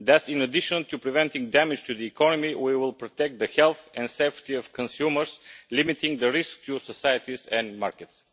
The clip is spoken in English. Thus, in addition to preventing damage to the economy we will protect the health and safety of consumers, limiting the risk to societies and markets.